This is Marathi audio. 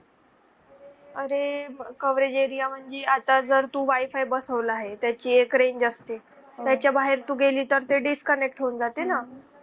अरे coverage area म्हणजे आता जर तू wi-fi बसवला आहे त्या ची एक range असते त्याच्या बाहेर तु गेली तर ते disconnect होऊन जाते ना